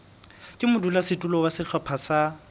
ka modulasetulo wa sehlopha sa